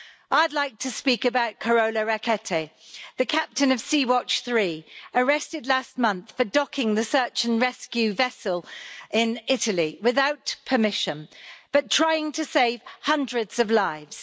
I'd like to speak about Carola Rackete, the Captain of Sea Watch 3, arrested last month for docking the search and rescue vessel in Italy without permission, but trying to save hundreds of lives.